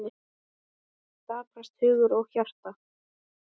Daprast hugur og hjarta.